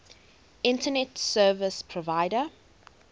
internet service provider